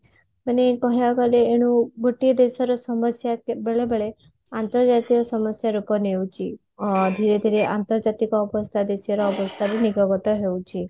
ମାନେ କହିବାକୁ ଗଲେ ଏଣୁ ଗୋଟିଏ ଦେଶର ସମସ୍ଯା ବେଳେବେଳେ ଆନ୍ତର୍ଜାତୀୟ ସମସ୍ଯା ରୂପ ନେଉଛି ଅ ଧୀରେ ଧୀରେ ଅନ୍ତର୍ଜାତିକ ଅବସ୍ଥା ଦେଶର ଅବସ୍ତା ରୁ ନିବଗତ ହଉଛି